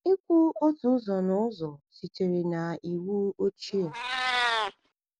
Ịkwụ otu ụzọ n’ụzọ (tithes) sitere na Iwu Ochie.